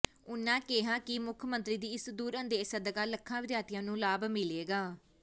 ਉਨ੍ਹਾਂ ਕਿਹਾ ਕਿ ਮੁੱਖ ਮੰਤਰੀ ਦੀ ਇਸ ਦੂਰਅੰਦੇਸ਼ ਸਦਕਾ ਲੱਖਾਂ ਵਿਦਿਆਰਥੀਆਂ ਨੂੰ ਲਾਭ ਮਿਲੇਗਾ